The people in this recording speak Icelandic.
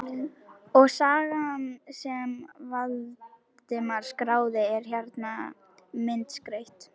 Og sagan sem Valdimar skráði er hérna, myndskreytt.